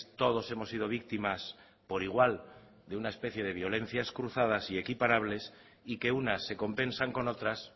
todos hemos sido víctimas por igual de una especie de violencias cruzadas y equiparables y que unas se compensan con otras